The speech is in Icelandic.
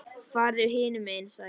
Farðu hinum megin sagði ég.